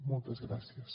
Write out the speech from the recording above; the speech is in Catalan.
moltes gràcies